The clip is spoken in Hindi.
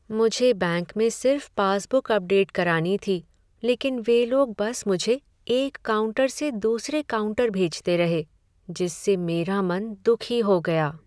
मुझे बैंक में सिर्फ पासबुक अपडेट करानी थी लेकिन वे लोग बस मुझे एक काउंटर से दूसरे काउंटर भेजते रहे जिससे मेरा मन दुखी हो गया।